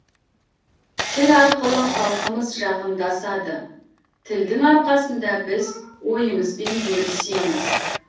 тіл арқылы халқымыз жақындасады тілдің арқасында біз ойымызбен бөлесеміз